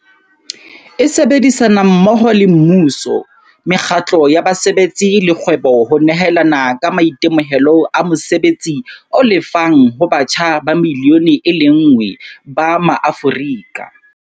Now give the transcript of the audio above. E sebedisana mmoho le mmuso, mekgatlo ya basebetsi le kgwebo ho nehelana ka maitemohelo a mosebetsi o lefang ho batjha ba milione e lenngwe ba maAforika.